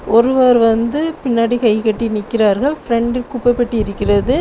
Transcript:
ஒருவர் வந்து பின்னாடி கைகட்டி நிற்கிறார்கள். ஃபிரெண்டில் குப்பை பெட்டி இருக்கிறது.